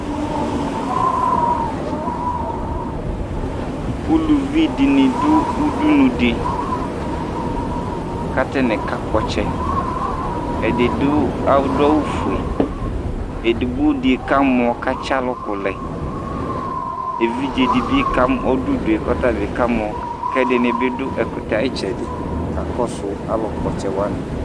uluvi dini du udunu di ku ata ni nakpɔ ɔtsɛ , ɛdi du adu awu fue, edigbo di kamɔ ku atsi aluku lɛ, evidze kamɔ , ɔdu udue kɔta bi kamɔ, ku ɛdini bi du ɛkutɛ ayitsɛdi kakɔsu alu kpɔ ɔtsɛ wʋani